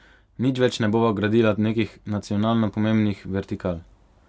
Nič več ne bova gradila nekih nacionalno pomembnih vertikal.